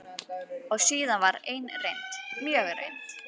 Og síðan var ein reynd, mjög reynd.